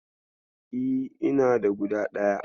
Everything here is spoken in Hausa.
E, ina da guda ɗaya.